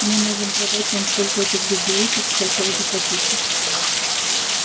мы можем продать вам столько этих безделушек сколько вы захотите